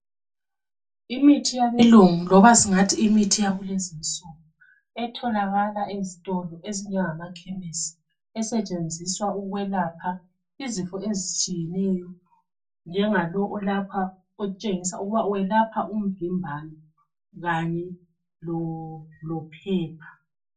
Imithi yabelungu loba singathi imithi yakulezinsuku etholakala ezitolo ezinjengamachemis esetshenziswa ukwelapha izifo ezitshiyeneyo njengalo olapha otshengisa ukuba welapha ukuvimbana lophepha